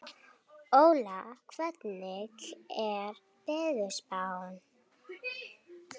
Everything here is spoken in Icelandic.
Óla, hvernig er veðurspáin?